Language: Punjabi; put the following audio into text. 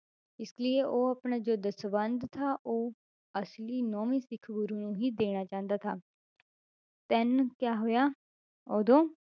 ਇਸ ਲਈਏ ਉਹ ਆਪਣਾ ਜੋ ਦਸਵੰਧ ਥਾ ਉਹ ਅਸਲੀ ਨੋਵੇਂ ਸਿੱਖ ਗੁਰੂ ਨੂੰ ਹੀ ਦੇਣਾ ਚਾਹੁੰਦਾ ਥਾ then ਕਿਆ ਹੋਇਆ ਉਦੋਂ